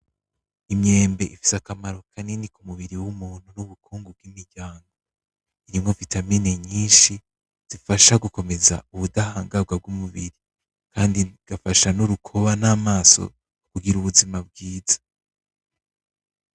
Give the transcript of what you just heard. Imyembe ifise akamaro kanini k'umubiri w'umuntu nubukungu bw'imiryango, irimwo vitamanie nyinshi zifasha gukomeza ubutahagarwa bw'umubiri kandi igafasha nurukoba namaso kugira ubuzima bwiza.